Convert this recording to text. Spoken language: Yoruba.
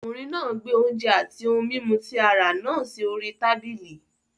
Ọkùnrin náà gbé oúnjẹ àti ohun mímu tí a rà náà sí orí tábìlì.